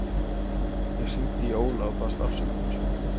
Ég hringdi í Óla og baðst afsökunar.